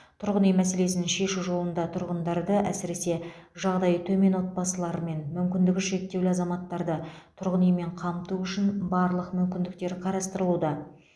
тұрғын үй мәселесін шешу жолында тұрғындарды әсіресе жағдайы төмен отбасылары мен мүмкіндігі шектеулі азаматтарды тұрғын үймен қамту үшін барлық мүмкіндіктер қарастырылуда